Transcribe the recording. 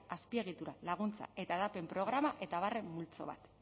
azpiegitura laguntza eta hedapen programa eta abarren multzo bat